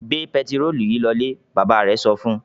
"Gbẹ pẹtírólù yìí lọlé!" Bàbá rẹ̀ sọ fún un.